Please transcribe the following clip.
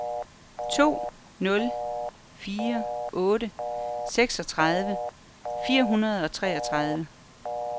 to nul fire otte seksogtredive fire hundrede og treogtredive